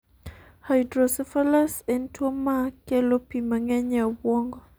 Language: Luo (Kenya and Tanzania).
Hydrocephalus en tuwo ma kelo pi mang'eny e obwongo.